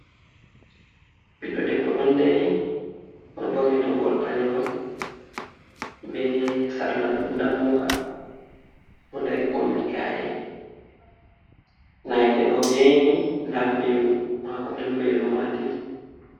Ɓiɗɗo ɗeɓɓo ɗon ɗari, oɗo borni toggol balewol, ɓe sarla nɗammuka. Oɗo ɗari kombi ka’e. nange ɗo yaini. Nɗa mɓelu mako. Ɓe mɓelu maɗi.